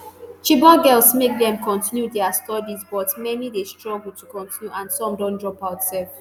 chibok girls make dem continue dia studies but many dey struggle to continue and some don drop out sef